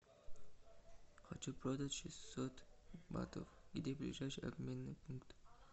хочу продать шестьсот батов где ближайший обменный пункт